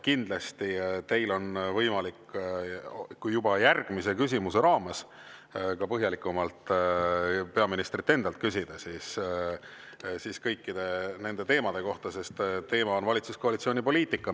Kindlasti on teil võimalik juba järgmise küsimuse raames ka põhjalikumalt peaministrilt endalt küsida kõikide nende teemade kohta, sest teema on valitsuskoalitsiooni poliitika.